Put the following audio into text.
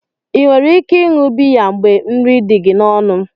Ị nwere ike ịṅụ biya mgbe nri dị gị n'ọnụ?